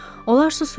Onlar susurdular.